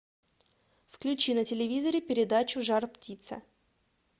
включи на телевизоре передачу жар птица